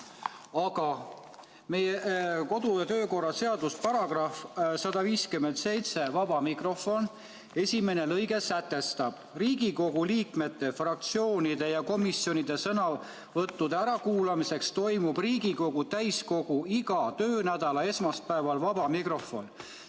Aga meie kodu- ja töökorra seaduse § 157 "Vaba mikrofon" esimene lõige sätestab: "Riigikogu liikmete, fraktsioonide ja komisjonide sõnavõttude ärakuulamiseks toimub Riigikogu täiskogu iga töönädala esmaspäeval vaba mikrofon.